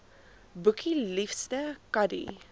boekie liefste kadie